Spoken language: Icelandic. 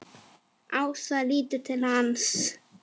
Ása lítur til hans.